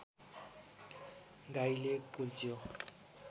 गाईले कुल्च्यो